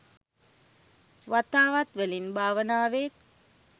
වතාවත් වලින්, භාවනාවෙන්,